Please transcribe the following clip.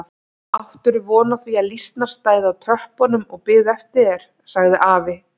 Áttirðu von á því að lýsnar stæðu á tröppunum og biðu eftir þér? sagði afi.